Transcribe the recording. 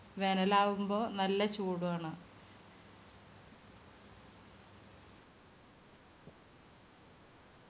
വേനലാവുമ്പോ നല്ല ചൂട് ആണ്.